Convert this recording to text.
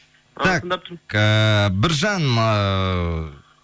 так ыыы біржан ыыы